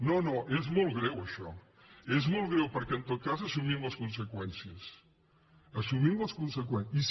no no és molt greu això és molt greu perquè en tot cas assumim les conseqüències assumim les conseqüències